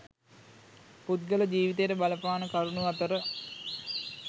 පුද්ගල ජීවිතයට බලපාන කරුණු අතර